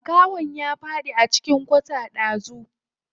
Makahon ya faɗi a cikin kwata ɗazu.